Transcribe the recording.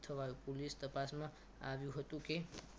થવાયુ police તપાસમાં આવ્યું હતું કે